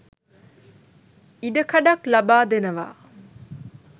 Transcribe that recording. ඉඩකඩක් ලබාදෙනවා